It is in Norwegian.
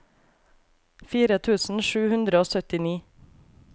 fire tusen sju hundre og syttini